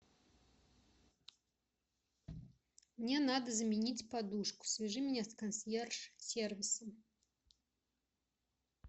мне надо заменить подушку свяжи меня с консьерж сервисом